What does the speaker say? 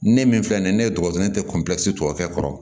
Ne min filɛ nin ye ne ye dɔgɔlen tɛ tɔ kɔrɔ